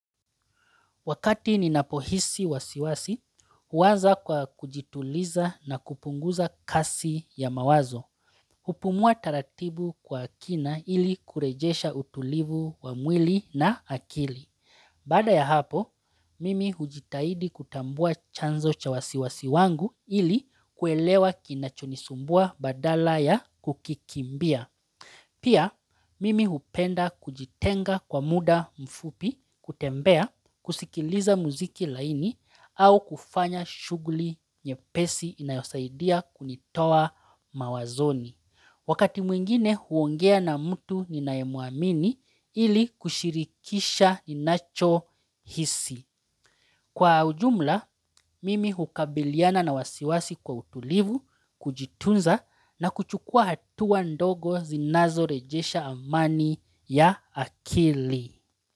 Wakati ninapohisi wasiwasi, huwaza kwa kujituliza na kupunguza kasi ya mawazo. Hupumua taratibu kwa akina ili kurejesha utulivu wa mwili na akili. Baada ya hapo, mimi hujitahidi kutambua chanzo cha wasiwasi wangu ili kuelewa kinacho nisumbua badala ya kukikimbia. Pia, mimi hupenda kujitenga kwa muda mfupi, kutembea, kusikiliza muziki laini au kufanya shughuli nyepesi inayosaidia kunitoa mawazoni. Wakati mwingine huongea na mtu ninaye muamini ili kushirikisha ninacho hisi. Kwa ujumla, mimi hukabiliana na wasiwasi kwa utulivu, kujitunza na kuchukua hatua ndogo zinazo rejesha amani ya akili.